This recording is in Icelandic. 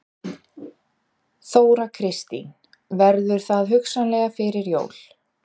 Þóra Kristín: Verður það hugsanlega fyrir jól?